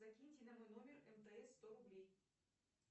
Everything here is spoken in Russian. закиньте на мой номер мтс сто рублей